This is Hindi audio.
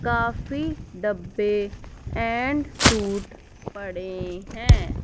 काफी डब्बे एंड सूट पड़े हैं।